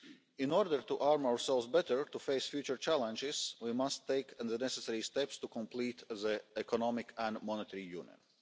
In order to arm ourselves better to face future challenges, we must take the necessary steps to complete our Economic and Monetary Union.